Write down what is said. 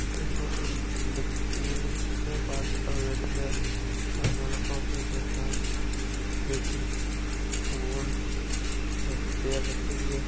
इस फोटो में बच्चे तस्वीर में पांच गाडूल्यो है बांकाने कॉपी किताब कैंची गूंद और टैप रखयोड़ी है।